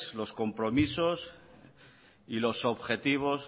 los compromisos y los objetivos